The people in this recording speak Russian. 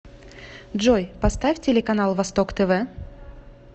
джой поставь телеканал восток тв